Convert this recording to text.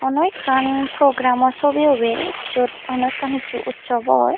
hono ekkan progeram sobi obel jot hono ekkan hissu ussop or.